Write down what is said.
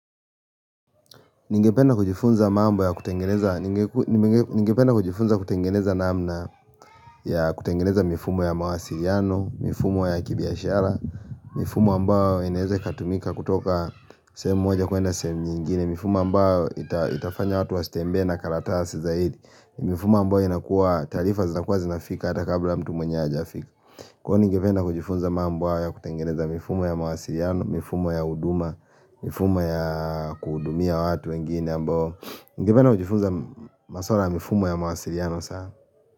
Ningependa kujifunza mambo ya kutengeneza namna ya kutengeneza mifumo ya mawasiliano, mifumo ya kibiashara, mifumo ambayo inaeza ikatumika kutoka sehemu moja kuenda sehemu nyingine, mifumo ambayo itafanya watu wasitembee na karatasi zaidi, mifumo ambayo inakuwa taarifa zinafika hata kabla mtu mwenyewe hajafika. Kwani ningependa kujifunza mambo hayo ya kutengeneza mifumo ya mawasiliano, mifumo ya uduma, mifumo ya kuhudumia watu wengine ambao ningependa kujifunza masuala ya mifumo ya mawasiliano sana.